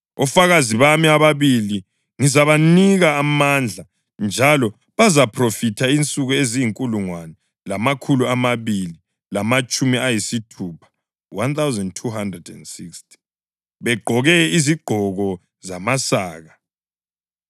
Ofakazi bami ababili ngizabanika amandla njalo bazaphrofitha insuku eziyinkulungwane lamakhulu amabili lamatshumi ayisithupha (1,260), begqoke izigqoko zamasaka.”